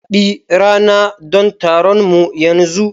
Zabi rana don taronmu yanzu!